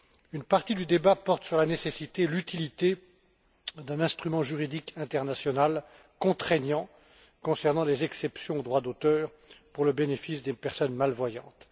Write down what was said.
Une partie du débat porte sur la nécessité et l'utilité d'un instrument juridique international contraignant concernant les exceptions au droit d'auteur au bénéfice des personnes malvoyantes.